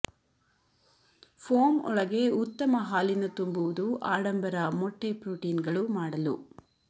foam ಒಳಗೆ ಉತ್ತಮ ಹಾಲಿನ ತುಂಬುವುದು ಆಡಂಬರ ಮೊಟ್ಟೆ ಪ್ರೋಟೀನ್ಗಳು ಮಾಡಲು